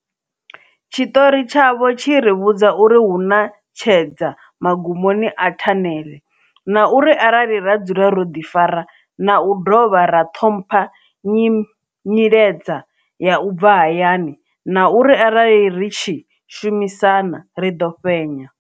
Tshiṱori tshavho tshi ri vhudza uri hu na tshedza magumoni a thanele, na uri arali ra dzula ro ḓifara na u dovha ra ṱhompha nyiledza ya u bva hayani, na uri arali ri tshi shumisana, ri ḓo fhenya.